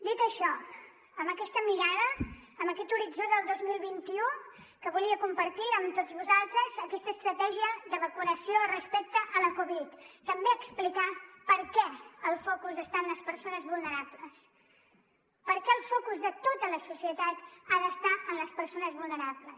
dit això amb aquesta mirada amb aquest horitzó del dos mil vint u que volia compartir amb tots vosaltres aquesta estratègia de vacunació respecte a la covid també explicar per què el focus està en les persones vulnerables per què el focus de tota la societat ha d’estar en les persones vulnerables